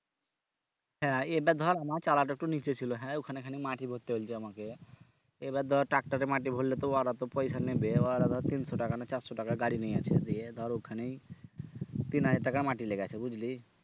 হ্যাঁ এটা ধর আমার চালাটা একটু নিচে ছিল হ্যাঁ ওখানে খানি মাটি ভরতে হোনছে আমাকে এবার ধরে tractor এ মাটি ভরলে তো ওরা তো পয়সা নেবে ওরা ধর তিনশো টাকা না চারশো টাকা গাড়ি দিয়ে ধর ওখানেই তিন হাজার টাকার মাটি লেগেছে বুঝলি?